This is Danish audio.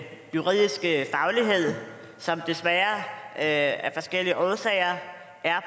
juridiske faglighed som desværre af forskellige årsager er